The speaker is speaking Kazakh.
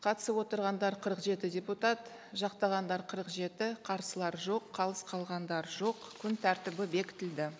қатысып отырғандар қырық жеті депутат жақтағандар қырық жеті қарсылар жоқ қалыс қалғандар жоқ күн тәртібі бекітілді